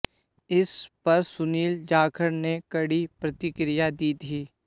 इस पर सुनील जाखड़ ने कड़ी प्रतिक्रिया दी थी